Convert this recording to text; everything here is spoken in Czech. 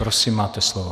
Prosím, máte slovo.